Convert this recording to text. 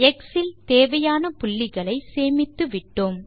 X இல் தேவையான புள்ளிகளை சேமித்துவிட்டோம்